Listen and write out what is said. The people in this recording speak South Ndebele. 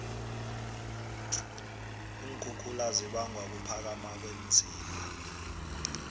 iinkhukhula zibangwa kuphakama kweenziba